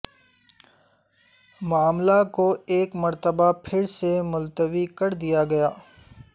معاملہ کو ایک مرتبہ پھر سے ملتوی کر دیا گیا